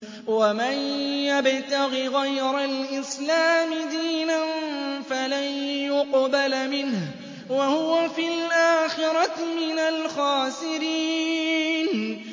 وَمَن يَبْتَغِ غَيْرَ الْإِسْلَامِ دِينًا فَلَن يُقْبَلَ مِنْهُ وَهُوَ فِي الْآخِرَةِ مِنَ الْخَاسِرِينَ